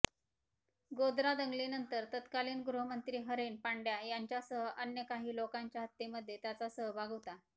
गोध्रा दंगलीनंतर तत्कालीन गृहमंत्री हरेन पंड्या यांच्यासह अन्य काही लोकांच्या हत्येमध्ये त्याचा सहभाग होता